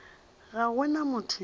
ga go na motho yo